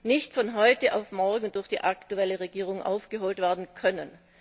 nicht von heute auf morgen durch die aktuelle Regierung aufgeholt werden können.